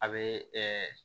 A bɛ